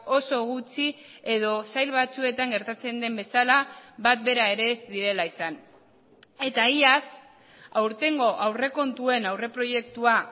oso gutxi edo sail batzuetan gertatzen den bezala bat bera ere ez direla izan eta iaz aurtengo aurrekontuen aurreproiektua